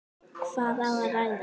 Hvað á að ræða?